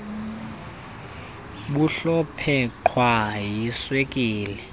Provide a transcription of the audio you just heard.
bumhlophe qhwa yiswekile